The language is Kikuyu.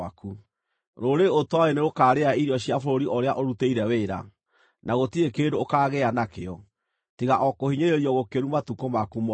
Rũrĩrĩ ũtooĩ nĩrũkarĩa irio cia bũrũri iria ũrutĩire wĩra, na gũtirĩ kĩndũ ũkaagĩa nakĩo, tiga o kũhinyĩrĩrio gũkĩru matukũ maku mothe.